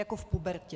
Jako v pubertě.